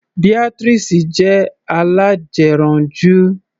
Beatrice jẹ́ alájẹranjú.